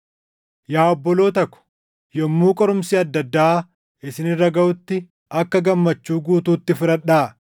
Yaa obboloota ko, yommuu qorumsi adda addaa isin irra gaʼutti akka gammachuu guutuutti fudhadhaa;